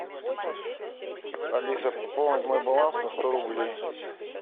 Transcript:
алиса пополни мой баланс на сто рублей